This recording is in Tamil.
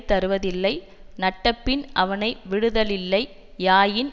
தருவதில்லை நட்டபின் அவனை விடுதலில்லை யாயின்